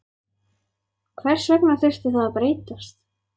Hvers vegna þurfti það að breytast?